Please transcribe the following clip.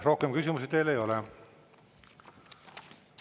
Rohkem küsimusi teile ei ole.